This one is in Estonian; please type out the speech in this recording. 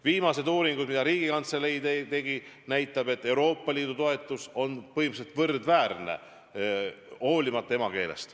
Viimased uuringud, mis Riigikantselei tegi, näitavad, et Euroopa Liidu toetamine on põhimõtteliselt võrdväärne, hoolimata emakeelest.